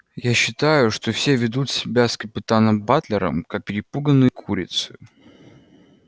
я считаю что все ведут себя с капитаном батлером как перепуганные курицы